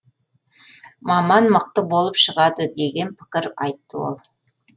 маман мықты болып шығады деген пікір айтты ол